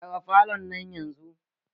Gyara falon nan yanzun!